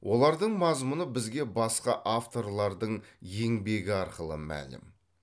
олардың мазмұны бізге басқа авторлардың еңбегі арқылы мәлім